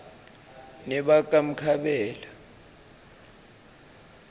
nebakamkhabela